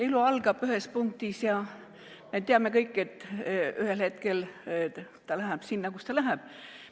Elu algab ühes punktis ja me teame kõik, et ühel hetkel ta läheb sinna, kus ta läheb.